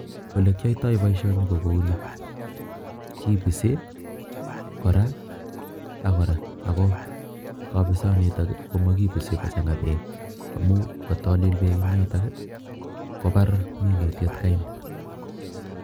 Ole kiyaitoi boisioni ko kouni, kipisi kora ak kora ako kapisanito komakipisi kochanga beek amun kotalil beek, kobaar minutiet kai.